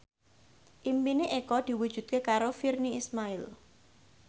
impine Eko diwujudke karo Virnie Ismail